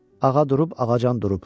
Ağa durub, ağacan durub.